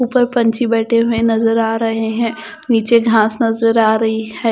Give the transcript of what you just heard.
ऊपर पंछी बैठे हुए नजर आ रहे हैं नीचे घास नजर आ रही है।